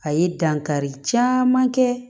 A ye dankari caman kɛ